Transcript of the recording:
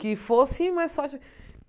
Que fosse mais forte.